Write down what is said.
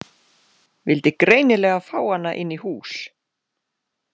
Vildi greinilega fá hana inn í hús.